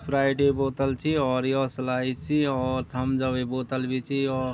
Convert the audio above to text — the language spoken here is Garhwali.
स्प्राइटे क बोतल च और यो स्लाइस च और थम्पस अपे बोतल भी च यो।